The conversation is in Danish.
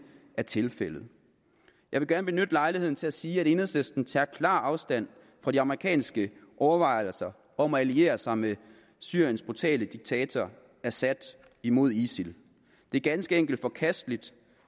er tilfældet jeg vil gerne benytte lejligheden til at sige at enhedslisten tager klar afstand fra de amerikanske overvejelser om at alliere sig med syriens brutale diktator assad imod isil det er ganske enkelt forkasteligt